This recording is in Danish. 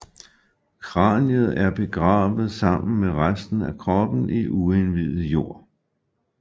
Kraniet blev begravet sammen med resten af kroppen i uindivet jord